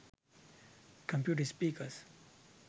computer speakers